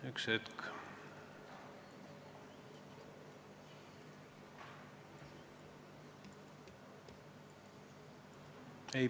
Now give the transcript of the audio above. Üks hetk!